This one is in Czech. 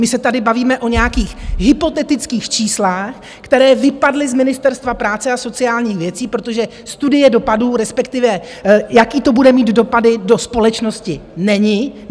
My se tady bavíme o nějakých hypotetických číslech, která vypadla z Ministerstva práce a sociálních věcí, protože studie dopadů, respektive jaké to bude mít dopady do společnosti, není.